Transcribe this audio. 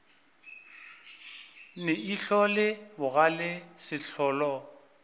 ne ihlo le bogale sehlola